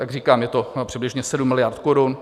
Jak říkám, je to přibližně 7 miliard korun.